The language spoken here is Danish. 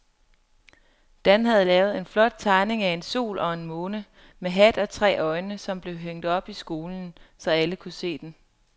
Dan havde lavet en flot tegning af en sol og en måne med hat og tre øjne, som blev hængt op i skolen, så alle kunne se den.